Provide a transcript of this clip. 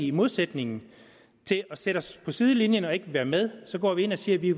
i modsætning til at sætte os på sidelinjen og ikke ville være med at gå ind og sige at vi